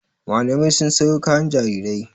Mamalai sun sayo kayan jarirai.